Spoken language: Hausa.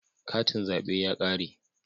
Katin zabe ya kare